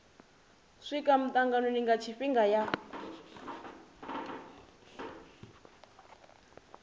swika mitanganoni nga tshifhinga ya